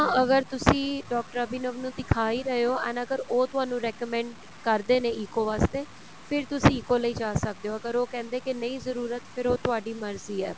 ਅਗਰ ਤੁਸੀਂ ਡਾਕਟਰ ਅਭਿਨਵ ਨੂੰ ਦਿਖਾ ਹੀ ਰਹੇ ਹੋ and ਅਗਰ ਉਹ ਤੁਹਾਨੂੰ recommend ਕਰਦੇ ਨੇ ECO ਵਾਸਤੇ ਫਿਰ ਤੁਸੀਂ ECO ਲਈ ਜਾ ਸਕਦੇ ਓ ਅਗਰ ਉਹ ਕਹਿੰਦੇ ਕੇ ਨਹੀਂ ਜ਼ਰੂਰਤ ਫ਼ਿਰ ਉਹ ਤੁਹਾਡੀ ਮਰਜੀ ਏ